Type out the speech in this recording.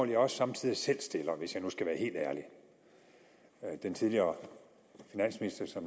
jeg også somme tider selv stiller hvis jeg nu skal være helt ærlig den tidligere finansminister